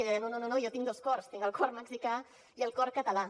ella deia no no no no jo tinc dos cors tinc el cor mexicà i el cor català